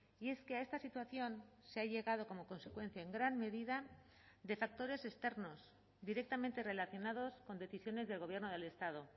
y es que a esta situación se ha llegado como consecuencia en gran medida de factores externos directamente relacionados con decisiones del gobierno del estado